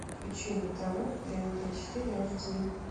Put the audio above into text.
включи на тв тнт четыре аш ди